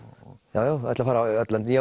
já ég ætla að fara í öll löndin ég